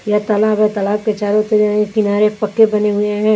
यह तलाब है तलाब के चारों किना किनारे पक्के बने हुए हैं।